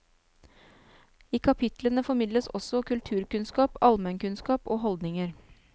I kapitlene formidles også kulturkunnskap, allmennkunnskap og holdninger.